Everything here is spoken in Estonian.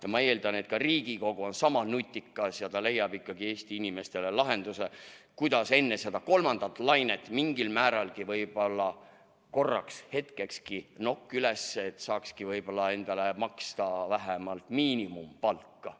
Ja ma eeldan, et ka Riigikogu on sama nutikas ja ta leiab ikkagi Eesti inimestele lahenduse, kuidas enne seda kolmandat lainet mingilgi määral, võib-olla korraks, hetkekski nokk üles tõsta, et saaks endale maksta vähemalt miinimumpalka.